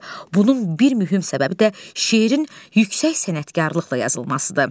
Bunun bir mühüm səbəbi də şeirin yüksək sənətkarlıqla yazılmasıdır.